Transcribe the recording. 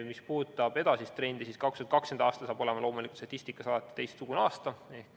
Mis puudutab edasist trendi, siis 2020. aasta saab loomulikult olema statistikas teistsugune aasta.